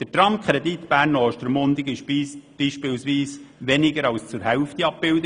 Der Tramkredit Bern– Ostermundigen zum Beispiel wurde nicht einmal zur Hälfte abgebildet.